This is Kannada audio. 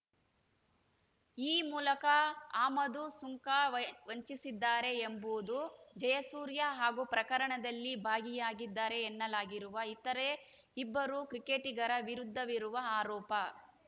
ಈ ಮೂಲಕ ಆಮದು ಸುಂಕ ವೈ ವಂಚಿಸಿದ್ದಾರೆ ಎಂಬುವುದು ಜಯಸೂರ್ಯ ಹಾಗೂ ಪ್ರಕರಣದಲ್ಲಿ ಭಾಗಿಯಾಗಿದ್ದಾರೆ ಎನ್ನಲಾಗಿರುವ ಇತರೆ ಇಬ್ಬರು ಕ್ರಿಕೆಟಿಗರ ವಿರುದ್ಧವಿರುವ ಆರೋಪ